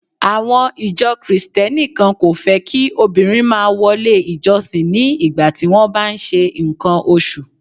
Àwọn ìjọ Kristẹni kan kò fẹ́ kí obìnrin máa wọlé ìjọsìn ní ìgbà tí wón ń bá ṣe ǹkan oṣù.